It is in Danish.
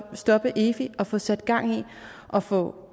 stoppe efi og få sat gang i at få